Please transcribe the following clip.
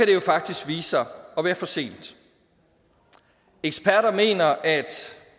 det jo faktisk vise sig at være for sent eksperter mener at